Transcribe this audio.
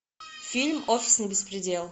фильм офисный беспредел